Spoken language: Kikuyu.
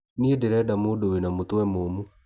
Nĩe ndireda mũndũ wĩna mũtwe mũmũ.